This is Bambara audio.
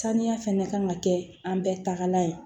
Saniya fɛnɛ ka kan ka kɛ an bɛɛ tagala ye